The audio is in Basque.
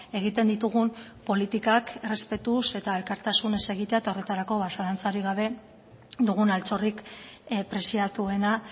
egiten ditugun politikak errespetuz eta elkartasunez egitea eta horretarako zalantzarik gabe dugun altxorrik preziatuena